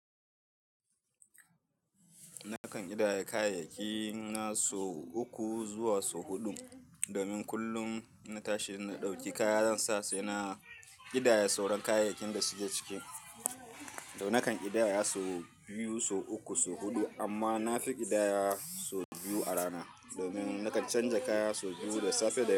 Nakan ƙidaya kayayyaki na sau uku zuwa sau huɗu. Domin kullum inna tashi inna ɗauki kaya zansa saina ƙidaya sauran kayayyakin da suke ciki. To nakan ƙidaya sau biyu, sau uku, sau huɗu amma na fi ƙidaya sau biyu a rana. Domin nakan canza kaya sau biyu da safe da yamma.